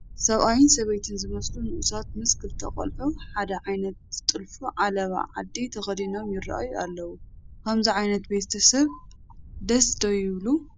ሰብኣይን ሰበይትን ዝመስሉ ንኡሳት ምስ ክልተ ቆልዑ ሓደ ዓይነት ዝጥልፉ ዓለባ ዓዲ ተኸዲኖም ይርአዩ ኣለዉ፡፡ ከምዚ ዓይነት ቤተ ሰብ ደስ ዶ ይብል?